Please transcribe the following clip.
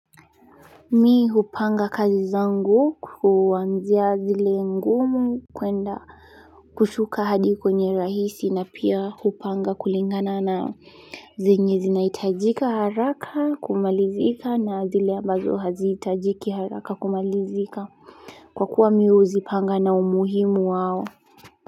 Mi hupanga kazi zangu kuanzia zile ngumu kuenda kushuka hadi kwenye rahisi na pia hupanga kulingana na zenye zinaitajika haraka kumalizika na zile ambazo haziitajiki haraka kumalizika kwa kuwa mi huzipanga na umuhimu wao.